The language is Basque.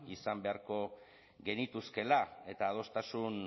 izan beharko genituzkeela eta adostasun